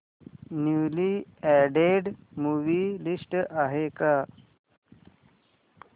newly added movie list आहे का